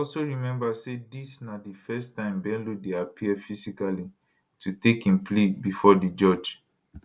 also remember say dis na di first time bello dey appear physically to take im plea bifor di judge